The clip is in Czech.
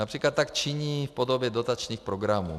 Například tak činí v podobě dotačních programů.